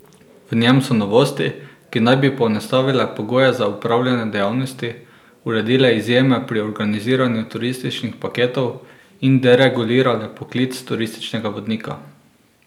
V njem so novosti, ki naj bi poenostavile pogoje za opravljanje dejavnosti, uredile izjeme pri organiziranju turističnih paketov in deregulirale poklic turističnega vodnika.